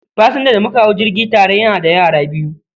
Pasanja da mauka hau jirgi tare yana da yara biyu